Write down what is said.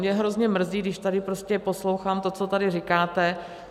Mě hrozně mrzí, když tady prostě poslouchám to, co tady říkáte.